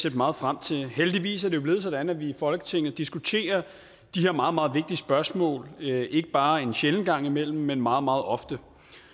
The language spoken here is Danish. set meget frem til heldigvis er det jo blevet sådan at vi i folketinget diskuterer de her meget meget vigtige spørgsmål ikke ikke bare en sjælden gang imellem men meget meget ofte